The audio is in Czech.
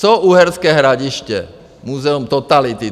Co Uherské Hradiště, Muzeum totality?